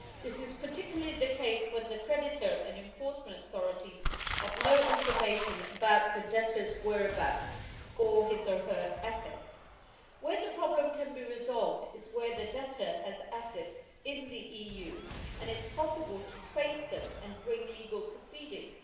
This is particularly the case when the creditor and the enforcement authorities have no information about the debtor's whereabouts or his or her assets. The problem can be resolved where the debtor has assets in the EU and it is possible to trace them and bring legal proceedings.